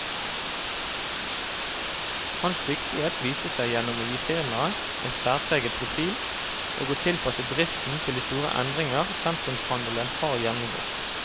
Hans dyktighet viste seg gjennom å gi firmaet en særpreget profil, og å tilpasse driften til de store endringer sentrumshandelen har gjennomgått.